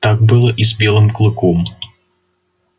так было и с белым клыком